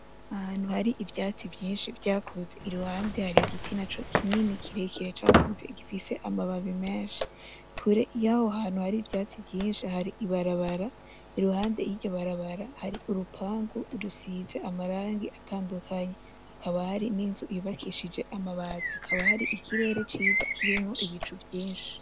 Ahantu har'ivyatsi vyinshi vyakuze ,iruhande hari igiti kirekire cakuze gifise amababi menshi ,kure yaho hantu hari ivatsi vyinshi hari barababara i,ruhande y'iryo barbara hari urupangu rusize amabara atandukanye hakaba har'inzu yubakishije amabati hakaba hari ikirere ciza kirimwo Ibicu vyinshi.